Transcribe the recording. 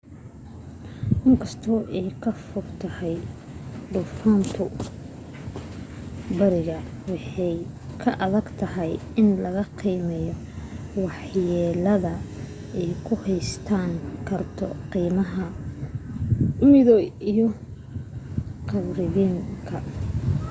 inkasto ay ka fogtahay duufantu bariga waa ay adagtahay in la qiimeyo wax yeelada ay u geysan karto qramada midoobey iyo caribbean-ka